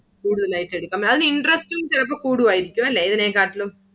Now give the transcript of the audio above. കുടുതലായിട്ടു എടുക്കാം. അതിന്റെ interest ഉം ചിലപ്പോ കുടുവയിരിക്കും അല്ലെ ഇതിനെ കാട്ടിലും.